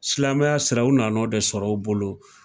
Silamɛya sira u nan'o de sɔr'o bolo